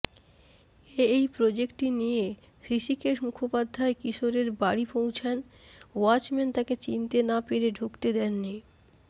এই প্রজেক্টটি নিয়ে হৃষিকেশ মুখোপাধ্যায় কিশোরের বাড়ি পৌঁছনে ওয়াচম্যান তাঁকে চিনতে না পেরে ঢুকতে দেননি